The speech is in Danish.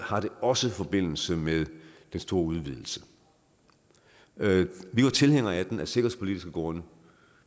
har det også forbindelse med den store udvidelse vi var tilhængere af den af sikkerhedspolitiske grunde